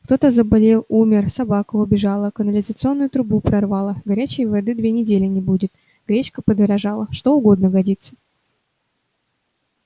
кто-то заболел умер собака убежала канализационную трубу прорвало горячей воды две недели не будет гречка подорожала что угодно годится